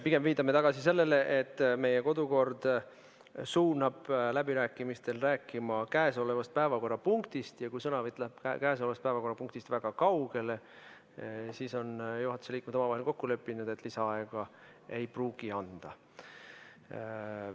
Pigem viitame tagasi sellele, et meie kodukord suunab läbirääkimistel rääkima käsilolevast päevakorrapunktist ja kui sõnavõtt läheb käsilolevast päevakorrapunktist väga kaugele, siis, juhatuse liikmed on omavahel nii kokku leppinud, lisaaega ei pruugita anda.